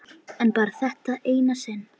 En bara þetta eina sinn.